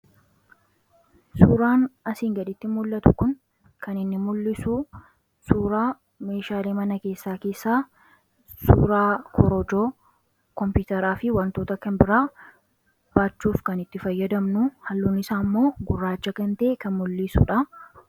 suuraan asiin gaditti mul'atu kun kan inni mul'isu suuraa meeshaali mana keessaa keessaa suuraa korojoo koompitaraa fi wantoota kan biraa baachuuf kan itti fayyadamnu halluun isaa ammoo gurraacha gantee kan mul'iisuudha